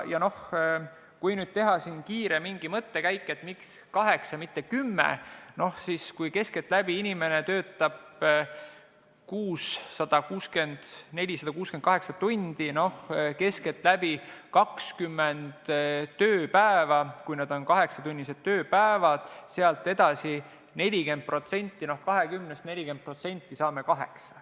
Kui nüüd teha siin mingi kiire mõttekäik, et miks kaheksa, mitte kümme, siis: kui inimene töötab kuus keskeltläbi 168 tundi, st keskmiselt 20 tööpäeva, mis on 8-tunnised, sealt edasi 40%, no 20-st 40%, saame 8.